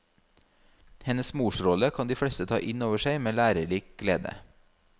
Hennes morsrolle kan de fleste ta inn over seg med lærerik glede.